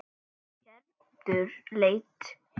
Gerður leit á